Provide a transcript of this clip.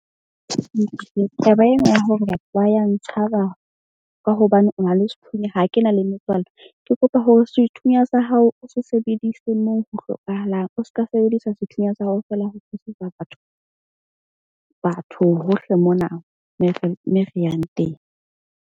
Taba ena ya hore batho ba ya ntshaba ka hobane o na le sethunya. Ha ke na le metswalle. Ke kopa hore sethunya sa hao o se sebedise moo, ho hlokahalang o ska sebedisa sethunya sa hao fela ho batho hohle mona me re yang teng.